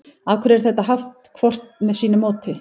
af hverju er þetta haft hvort með sínu móti